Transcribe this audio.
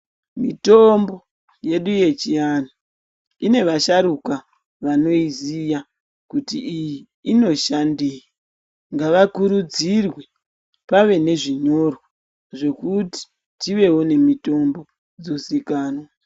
Mitombo yedu yechiantu ine vasharuka vanoiziya kuti iyi inoshandei. Ngavakurudzirwe pave nezvinyorwa zvokuti tivewo nemitombo dzozikanwa.